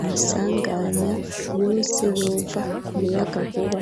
amasanganya yose yova ku muyagankuba.